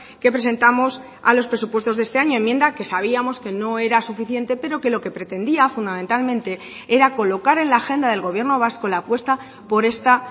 que presentamos a los presupuestos de este año enmienda que sabíamos que no era suficiente pero que lo que pretendía fundamentalmente era colocar en la agenda del gobierno vasco la apuesta por esta